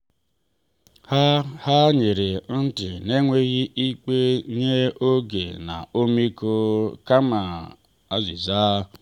ha ha nyere ntị n’enweghị ikpe nye oge na ọmịiko kama azịza.